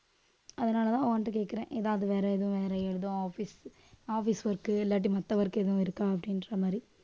அதனாலதான் உன்ட்ட கேட்கிறேன். ஏதாவது வேற எதுவும் வேற ஏதும் office office work இல்லாட்டி மத்த work எதுவும் இருக்கா அப்படின்ற மாதிரி